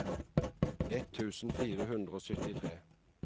ett tusen fire hundre og syttitre